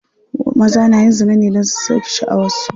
Maza na yin zina ne don su sauke sha'awar su.